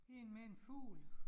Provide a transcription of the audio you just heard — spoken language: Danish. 1 med en fugl